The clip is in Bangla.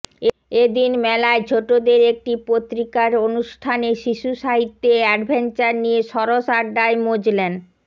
এ দিন মেলায় ছোটদের একটি পত্রিকার অনুষ্ঠানে শিশুসাহিত্যে অ্যাডভেঞ্চার নিয়ে সরস আড্ডায় মজলেন